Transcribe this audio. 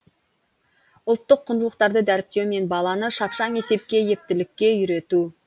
ұлттық құндылықтарды дәріптеу мен баланы шапшаң есепке ептілікке үйрету